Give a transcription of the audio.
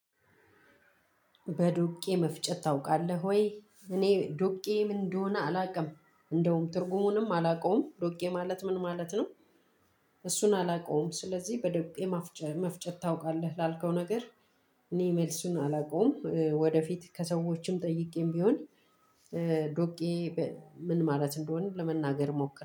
በዶቄ መፍጨት ታውቃለህ ወይ? እኔ ዶቄ ምን እንደሆነ አላውቅም እንደውም ትርጉሙንም አላውቀውም ዶቄ ማለት ምን ማለት ነው? እሱን አላውቀውም ስለዚህ በዶቄ መፍጨት መፍጨት ታውቃለህ? ላልከው ነገር እኔ መልሱን አላውቀውም። ወደፊት ከሰዎችም ጠይቄም ቢሆን ዶቄ ምን ማለት እንደሆነ ለመናገር ሞክር